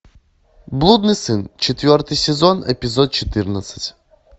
блудный сын четвертый сезон эпизод четырнадцать